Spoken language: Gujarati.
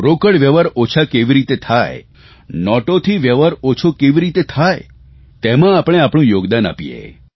રોકડ વ્યવહાર ઓછા કેવી રીતે થાય નોટોથી વ્યવહાર ઓછો કેવી રીતે થાય તેમાં આપણે તેમાં આપણે આપણું યોગદાન આપીએ